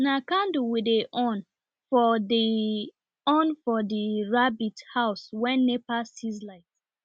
na candle we dey on for dey on for the rabbit house wen nepa sieze light